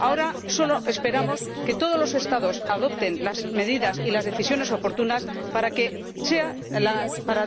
Ahora solo esperamos que todos los Estados adopten las medidas y las decisiones oportunas para